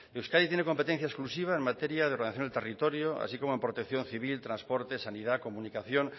euskadi tiene competencia exclusiva en materia de ordenación del territorio así como protección civil transporte sanidad comunicación